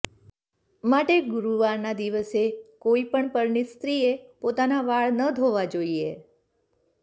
માટે ગુરુવાર ના દિવસે કોઈ પણ પરણિત સ્ત્રીએ પોતાના વાળ ન ધોવા જોઈએ